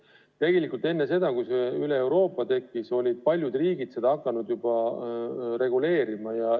Ja tegelikult juba enne seda, kui see üleeuroopaline regulatsioon tekkis, olid paljud riigid hakanud seda reguleerima.